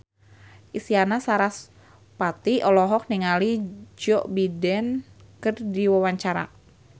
Isyana Sarasvati olohok ningali Joe Biden keur diwawancara